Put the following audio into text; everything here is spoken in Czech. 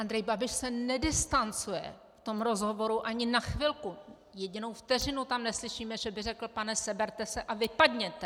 Andrej Babiš se nedistancuje v tom rozhovoru ani na chvilku, jedinou vteřinu tam neslyšíme, že by řekl: Pane, seberte se a vypadněte.